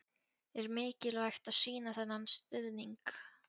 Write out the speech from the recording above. Er mikilvægt að sýna þennan stuðning?